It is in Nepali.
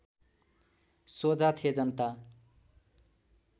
सोझा थे जनता